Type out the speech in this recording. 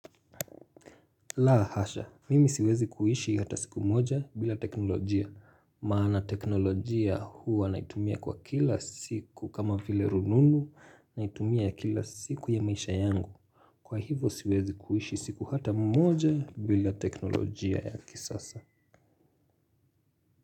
La hasha, mimi siwezi kuishi hata siku moja bila teknolojia maana teknolojia huwa naitumia kwa kila siku kama vile rununu naitumia kila siku ya maisha yangu kwa hivo siwezi kuishi siku hata moja bila teknolojia ya kisasa.